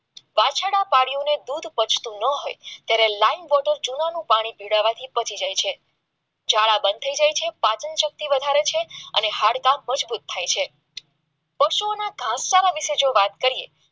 માડીને દૂધપટતું ન હોવાથી ત્યારે લાઈવ બોટલ ચૂનાનો પાણી પીવડાવવાથી મટી જાય છે ઝાડા બંધ થઈ જાય છે પાચન શક્તિ વધારે છે અને હાડક મજબૂત થાય છે પાછું ઓના ભાગ જાડા માટે વાત કરીએ